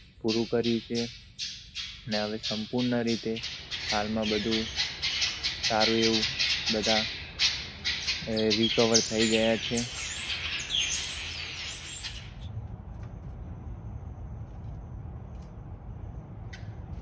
પૂરું કર્યું છે અને સંપૂર્ણ રીતે હાલમાં બધુ સારું એવું બધુ recover થઈ ગયા છે.